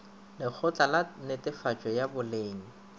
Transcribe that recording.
lekgotla la netefatšo ya boleng